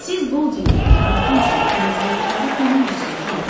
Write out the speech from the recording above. Siz Boldini, Makkinini, təmizləyiciləri tanımırsız, Con.